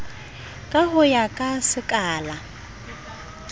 ka ho ya ka sekala